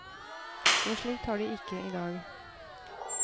Noe slikt har de ikke i dag.